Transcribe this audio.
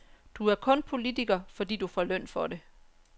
Du er kun politiker, fordi du får løn for det.